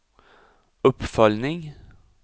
uppföljning